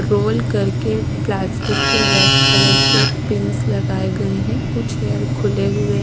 role करके plastic के red colour के पिंन्स लगाए गए हैं कुछ हेयर खुले हुए--